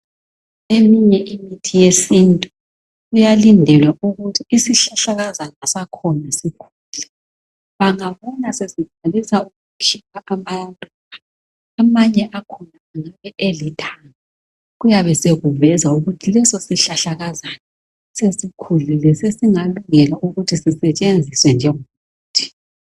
Eminye imithi yesintu kuyalindelwa ukuthi isihlahlakazana sakhona sikhule. Bangabona sokuvela amaluba amanye akhona alithanga, kuyabe sokuveza ukuthi leso sihlahlakazana sesikhulile sesingalungela ukuthi sisetshenziswe njengomuthi.